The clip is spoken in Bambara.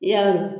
I y'a